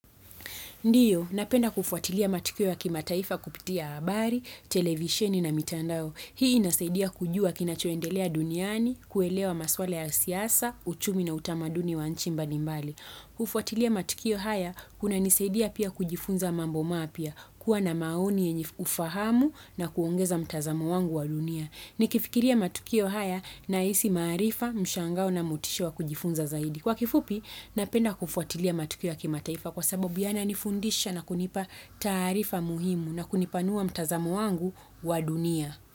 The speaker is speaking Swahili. Ndiyo, napenda kufuatilia matukio ya kimataifa kupitia habari, televisheni na mitandao. Hii inasaidia kujua kinachoendelea duniani, kuelewa maswala ya siasa, uchumi na utamaduni wa nchi mbali mbali. Kufuatilia matukio haya, kunanisaidia pia kujifunza mambo mapya, kuwa na maoni yenye ufahamu na kuongeza mtazamo wangu wa dunia. Nikifikiria matukio haya nahisi maarifa, mshangao na motisha wa kujifunza zaidi. Kwa kifupi, napenda kufuatilia matukio ya kimataifa kwa sababu yananifundisha na kunipa taarifa muhimu na kunipanua mtazamo wangu wa dunia.